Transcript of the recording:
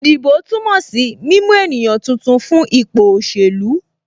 Ìdìbò túmọ̀ sí mímú ènìyàn tuntun fún ipò òṣèlú